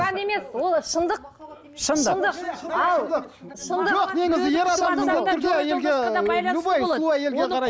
күмән емес ол шындық шындық шындық ал